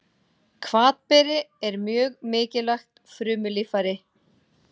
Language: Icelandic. Hvatberi er mjög mikilvægt frumulíffæri.